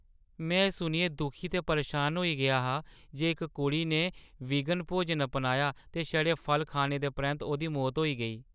में एह्‌ सुनियै दुखी ते परेशान होई गेआ हा जे इक कुड़ी ने वीगन भोजन अपनाया ते छड़े फल खाने दे परैंत्त ओह्‌दी मौत होई गेई।